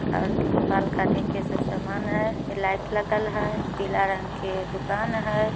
बाल काटे के सब समान है लाइट लगल है पीला रंग के दुकान है।